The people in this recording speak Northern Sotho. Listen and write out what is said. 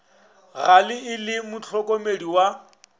gale e le mohlokomedi wa